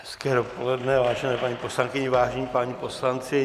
Hezké dopoledne, vážené paní poslankyně, vážení páni poslanci.